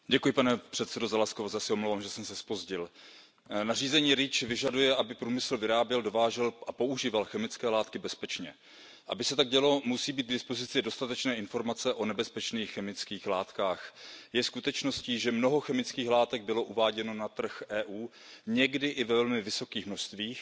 Pane předsedající, nařízení REACH vyžaduje, aby průmysl vyráběl, dovážel a používal chemické látky bezpečně. Aby se tak dělo, musí být k dispozici dostatečné informace o nebezpečných chemických látkách. Je skutečností, že mnoho chemických látek bylo uváděno na trh EU, někdy i ve velmi vysokých množstvích,